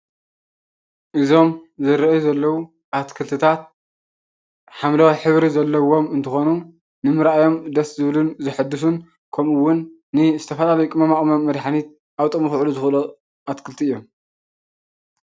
እዞም ዝረኣዩ ዘለዉ ኣትክልቲታት ሓምለዋይ ሕብሪ ዘለዎም እንትኮኑ ንምርኣዮም ደስ ዝብሉን ዘሕድሱን ከምኡ እዉን ንዝተፈላለዩ ቅመማቅመም መድሓኒት ኣብ ጥቅሚ ክውዕሉ ዝክእሉ ኣትክልቲ እዮም።